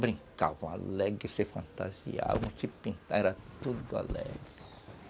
Brincavam alegre, se fantasiavam, se pintavam, era tudo alegre.